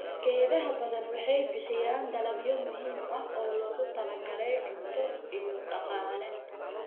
Geedaha badan waxay bixiyaan dalagyo muhiim ah oo loogu talagalay cunto iyo dhaqaale.